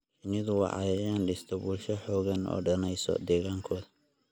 Shinnidu waa cayayaan dhista bulsho xooggan oo danaysa deegaankooda.